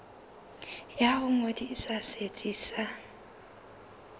ya ho ngodisa setsi sa